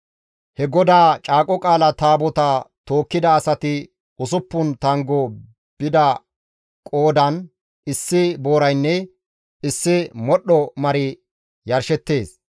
He GODAA Caaqo Qaala Taabotaa tookkida asati usuppun tanggo bida qoodan issi booraynne issi modhdho mari yarshettees.